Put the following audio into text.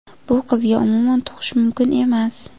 Bu qizga umuman tug‘ish mumkin emas.